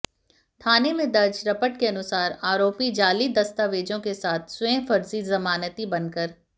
थाने में दर्ज रपट के अनुसार आरोपी जाली दस्तावेजों के साथ स्वयं फर्जी जमानती बनकर